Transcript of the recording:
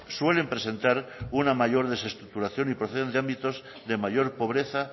suelen presentar una mayor desestructuración y proceden de ámbitos de mayor pobreza